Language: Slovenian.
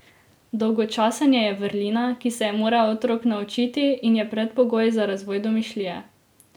Dolgočasenje je vrlina, ki se je mora otrok naučiti in je predpogoj za razvoj domišljije.